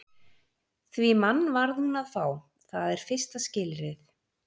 Því mann varð hún að fá, það er fyrsta skilyrðið.